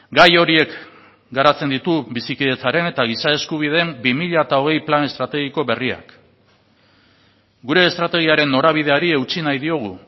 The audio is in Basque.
gai horiek garatzen ditu bizikidetzaren eta giza eskubideen bi mila hogei plan estrategiko berriak gure estrategiaren norabideari eutsi nahi diogu